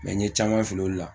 Mɛ n ye caman fili olu la